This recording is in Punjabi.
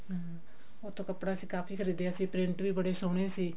ਹਮ ਉੱਥੋਂ ਕੱਪੜਾ ਅਸੀਂ ਕਾਫੀ ਖਰੀਦਿਆ ਸੀ print ਵੀ ਬੜੇ ਸੋਹਣੇ ਸੀ